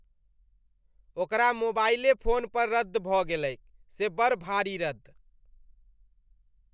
ओकरा मोबाईले फोन पर रद्द भऽ गेलैक से बड़ भारी रद्द ।